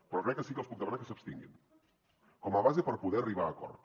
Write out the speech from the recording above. però crec que sí que els puc demanar que s’abstinguin com a base per poder arribar a acords